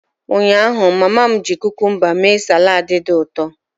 Ụnyaahụ, mama m ji cucumba mee salad dị ụtọ.